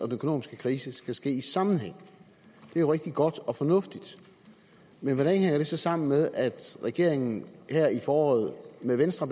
økonomiske krise skal ske i sammenhæng det er jo rigtig godt og fornuftigt men hvordan hænger det så sammen med at regeringen her i foråret med venstre